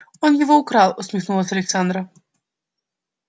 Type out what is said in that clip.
он его украл усмехнулась александра